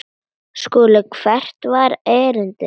SKÚLI: Hvert var erindi yðar?